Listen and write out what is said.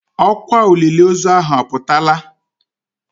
Ọkwa olile ozu ahụ aputala.